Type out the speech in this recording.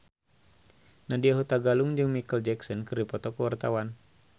Nadya Hutagalung jeung Micheal Jackson keur dipoto ku wartawan